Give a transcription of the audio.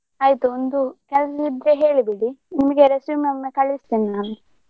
ಆಯ್ತು ಒಂದು ಕೆಲ್ಸ ಇದ್ರೆ ಹೇಳಿ ಬಿಡಿ ನಿಮ್ಗೆ resume ಒಮ್ಮೆ ಕಳಿಸ್ತೇನೆ ನಾನು.